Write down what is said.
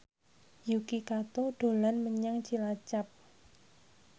Yuki Kato dolan menyang Cilacap